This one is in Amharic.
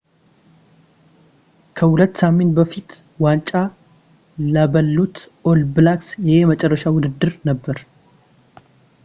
ከሁለት ሳምንት በፊት ዋንጫ ለበሉት ኦል ብላክስ ይሄ የመጨረሻ ውድድር ነበር